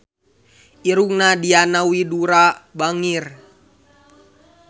Irungna Diana Widoera bangir